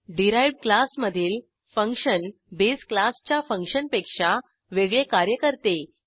derived class मधील function base क्लासच्या फंक्शनपेक्षा वेगळे कार्य करते